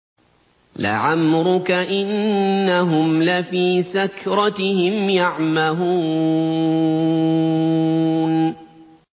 لَعَمْرُكَ إِنَّهُمْ لَفِي سَكْرَتِهِمْ يَعْمَهُونَ